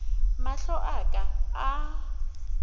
mahlo a ka a ka